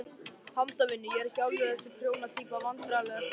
Handavinnu, ég er ekki alveg þessi prjóna týpa Vandræðalegasta augnablik?